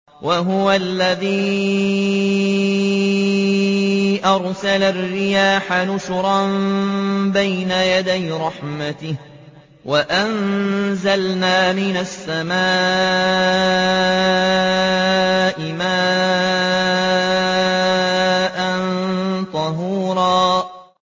وَهُوَ الَّذِي أَرْسَلَ الرِّيَاحَ بُشْرًا بَيْنَ يَدَيْ رَحْمَتِهِ ۚ وَأَنزَلْنَا مِنَ السَّمَاءِ مَاءً طَهُورًا